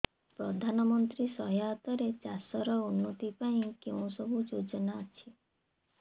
ପ୍ରଧାନମନ୍ତ୍ରୀ ସହାୟତା ରେ ଚାଷ ର ଉନ୍ନତି ପାଇଁ କେଉଁ ସବୁ ଯୋଜନା ଅଛି